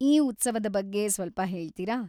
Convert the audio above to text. ಈ ಉತ್ಸವದ ಬಗ್ಗೆ ಸ್ವಲ್ಪ ಹೇಳ್ತೀರಾ?